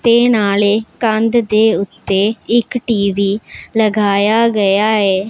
ਤੇ ਨਾਲ਼ੇ ਕੰਧ ਦੇ ਓੱਤੇ ਇੱਕ ਟੀ_ਵੀ ਲਗਾਇਆ ਗਿਆ ਐ।